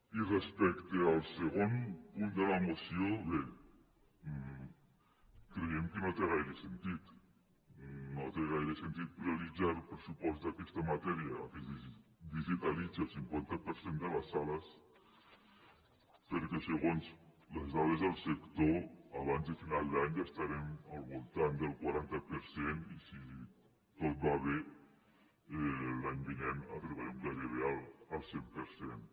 i respecte al segon punt de la moció bé creiem que no té gaire sentit no té gaire sentit prioritzar el pressupost d’aquesta matèria perquè es digitalitzi el cinquanta per cent de les sales perquè segons les dades del sector abans de final d’any ja estarem al voltant del quaranta per cent i si tot va bé l’any vinent arribarem gairebé al cent per cent